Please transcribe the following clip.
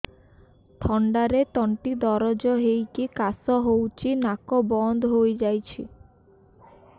ଥଣ୍ଡାରେ ତଣ୍ଟି ଦରଜ ହେଇକି କାଶ ହଉଚି ନାକ ବନ୍ଦ ହୋଇଯାଉଛି